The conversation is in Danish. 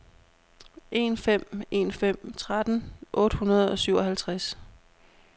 en fem en fem tretten otte hundrede og syvoghalvtreds